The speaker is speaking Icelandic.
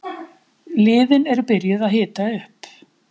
Liðin eru byrjuð að hita upp.